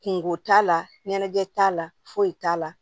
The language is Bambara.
Kungo t'a la ɲɛnajɛ t'a la foyi t'a la